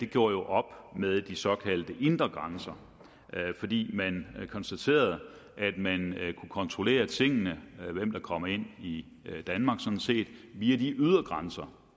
gjorde op med de såkaldte indre grænser fordi man konstaterede at man kunne kontrollere tingene og kom ind i danmark via de ydre grænser